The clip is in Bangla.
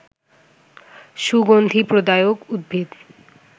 সুগন্ধি প্রদায়ক উদ্ভিদ